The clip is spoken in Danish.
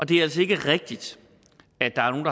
det er altså ikke rigtigt at der er nogle